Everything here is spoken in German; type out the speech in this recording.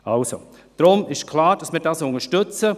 Also: Deshalb ist klar, dass wir dies unterstützen.